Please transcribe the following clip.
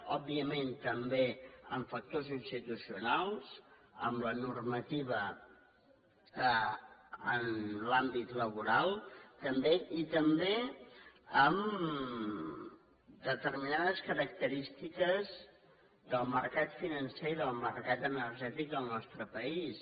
òbviament també amb factors institucionals amb la normativa en l’àmbit laboral també i també amb determinades característiques del mercat financer i del mercat energètic del nostre país